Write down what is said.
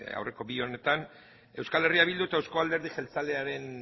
aurreko bi honetan euskal herria bildu eta euzko alderdi jeltzalearen